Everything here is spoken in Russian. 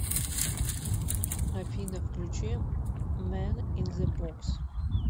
афина включи мэн ин зе бокс